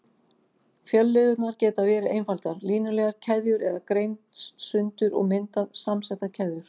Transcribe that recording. Fjölliðurnar geta verið einfaldar, línulegar keðjur eða greinst sundur og myndað samsettar keðjur.